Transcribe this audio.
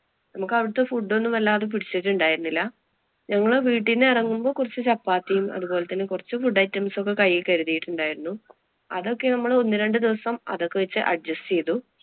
നമുക്ക് അവിടത്തെ food ഒന്നും വല്ലാതെ പിടിച്ചിട്ടുണ്ടായിരുന്നില്ല. ഞങ്ങള് വീട്ടിന്ന് എറങ്ങുമ്പോ കൊറച്ച് ചപ്പാത്തിയും, അതുപോലെ തന്നെ കുറച്ചു food items ഉം ഒക്കെ കൈയില്‍ കരുതിയിട്ടുണ്ടായിരുന്നു. അതൊക്കെ നമ്മള് ഒന്നുരണ്ടു ദിവസം അതൊക്കെ വച്ച് adjust ചെയ്തു.